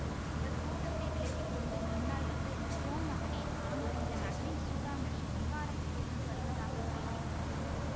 அவர் கூட்டத்தை விலக்கி கொண்டு முன்னால் வந்து கோமகனே தாங்கள் இந்த நகரின் சூடாமணி விஹாரத்தில் இருந்து வருவதாக கேள்விப்பட்டோம்